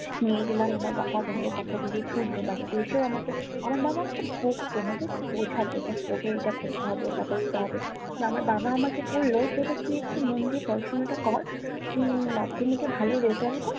নিয়ে গেলাম আমার বাবা গেলো কথা গুলো শুনলো but এসেও আমাকে আমার বাবা আমাকে বকতো নাহ just বোঝাতো দেখ তোকে এইটা করতে হবে ওইটা করতে হবে । বা আমার বাবা আমাকে বললো যে এটা তুই একটু মন দিয়ে পড়াশুনা কর তুই মাধ্যমিকে ভালো রেজাল্ট কর